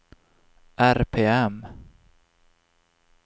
RPM